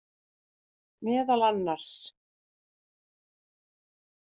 Meðal annars.